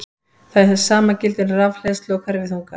Það sama gildir um rafhleðslu og hverfiþunga.